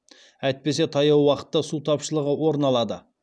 әйтпесе таяу уақытта су тапшылығы орын алады